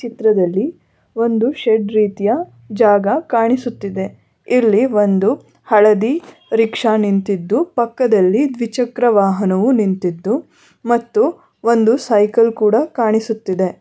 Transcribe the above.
ಚಿತ್ರದಲ್ಲಿ ಒಂದು ಶೆಡ್ ರೀತಿಯ ಜಾಗ ಕಾಣಿಸುತ್ತಿದೆ ಇಲ್ಲಿ ಒಂದು ಹಳದಿ ರಿಕ್ಷಾ ನಿಂತಿದ್ದು ಪಕ್ಕದಲ್ಲಿ ದ್ವಿಚಕ್ರವಾಹನವು ನಿಂತಿದ್ದು ಮತ್ತು ಒಂದು ಸೈಕಲ್ ಕೂಡ ಕಾಣಿಸುತ್ತಿದೆ.